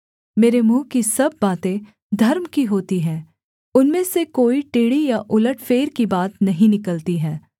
मेरे मुँह की सब बातें धर्म की होती हैं उनमें से कोई टेढ़ी या उलटफेर की बात नहीं निकलती है